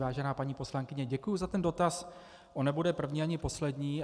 Vážená paní poslankyně, děkuju za ten dotaz, on nebude první ani poslední.